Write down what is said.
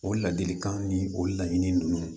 O ladilikan ni o laɲinin nunnu